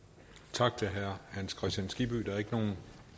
tak til herre hans kristian skibby der er ikke